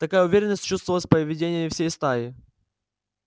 такая уверенность чувствовалась в поведении всей стаи